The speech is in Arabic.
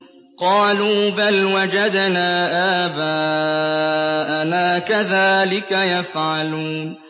قَالُوا بَلْ وَجَدْنَا آبَاءَنَا كَذَٰلِكَ يَفْعَلُونَ